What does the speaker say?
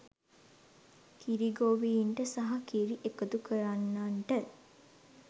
කිරි ගෙවීන්ට සහ කිරි එකතුකරන්නන්ට